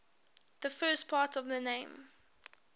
the first part of the name